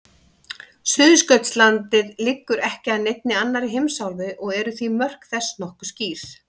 Suðurskautslandið liggur ekki að neinni annarri heimsálfu og því eru mörk þess nokkuð skýr.